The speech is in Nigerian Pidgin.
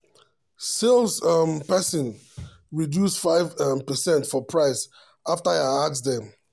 sales um person reduce five um percent for price after i ask dem.